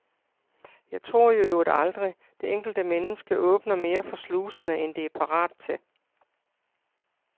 Jeg tror i øvrigt aldrig, det enkelte menneske åbner mere for sluserne, end det er parat til.